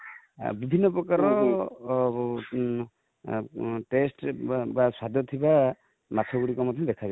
ବିଭିନ୍ନ ପ୍ରକାରର taste ବା ସ୍ୱାଦ ଥିବା ମାଛ ଗୁଡିକ ମଧ୍ୟ ଦେଖାଯାଏ |